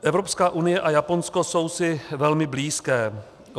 Evropská unie a Japonsko jsou si velmi blízké.